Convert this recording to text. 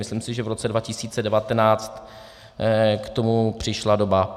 Myslím si, že v roce 2019 k tomu přišla doba.